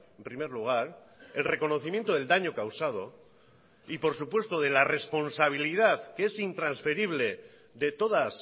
en primer lugar el reconocimiento del daño causado y por supuesto de la responsabilidad que es intransferible de todas